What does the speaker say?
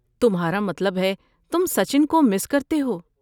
تمہارا مطلب ہے تم سچن کو مس کرتے ہو۔